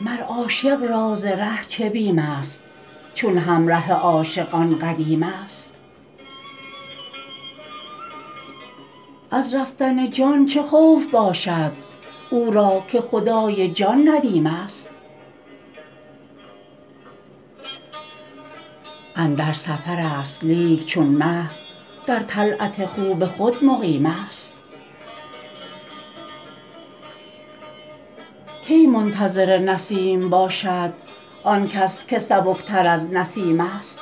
مر عاشق را ز ره چه بیمست چون همره عاشق آن قدیمست از رفتن جان چه خوف باشد او را که خدای جان ندیمست اندر سفرست لیک چون مه در طلعت خوب خود مقیمست کی منتظر نسیم باشد آن کس که سبکتر از نسیمست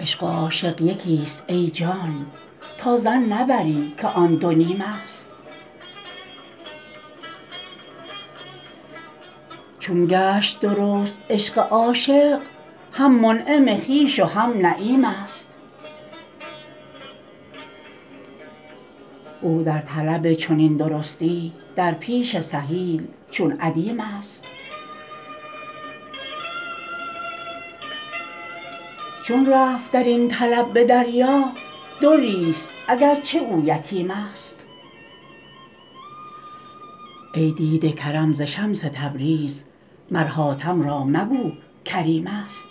عشق و عاشق یکی ست ای جان تا ظن نبری که آن دو نیمست چون گشت درست عشق عاشق هم منعم خویش و هم نعیمست او در طلب چنین درستی در پیش سهیل چون ادیمست چون رفت در این طلب به دریا دری ست اگر چه او یتیمست ای دیده کرم ز شمس تبریز مر حاتم را مگو کریمست